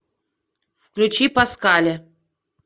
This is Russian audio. включи паскаля